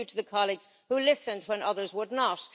Thank you to the colleagues who listened when others would not.